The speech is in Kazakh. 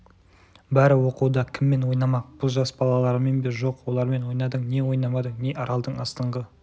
бәрі оқуда кіммен ойнамақ бұл жас балалармен бе жоқ олармен ойнадың не ойнамадың не аралдың астыңғы